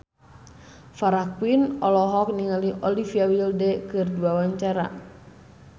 Farah Quinn olohok ningali Olivia Wilde keur diwawancara